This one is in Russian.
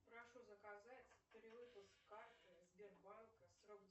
прошу заказать перевыпуск карты сбербанка срок